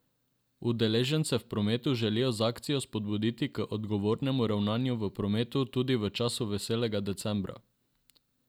Udeležence v prometu želijo z akcijo spodbuditi k odgovornemu ravnanju v prometu tudi v času veselega decembra.